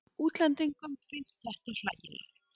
Útlendingum finnst þetta hlægilegt.